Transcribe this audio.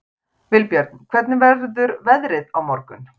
Vilbjörn, hvernig verður veðrið á morgun?